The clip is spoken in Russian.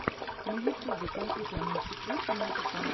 на ютюбе компьютерные секреты музыка